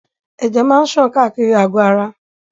Ẹ̀jẹ̀ máa ṣàn káàkiri àgò ara.